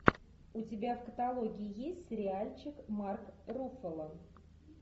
у тебя в каталоге есть сериальчик марк руффало